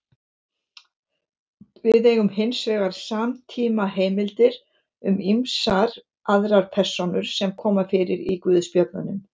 Við eigum hins vegar samtímaheimildir um ýmsar aðrar persónur sem koma fyrir í guðspjöllunum.